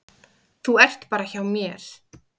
Þú ert bara hjá mér.